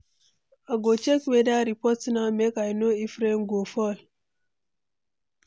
I go check weather report now, make I know if rain go fall.